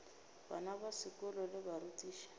bana ba sekolo le barutiši